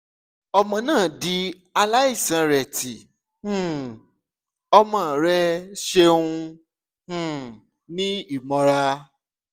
ọmọ naa di alaisanreti um ọmọ rẹ ṣeun um ni imọra